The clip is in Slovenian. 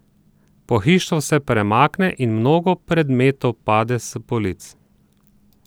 Pohištvo se premakne in mnogo predmetov pade s polic.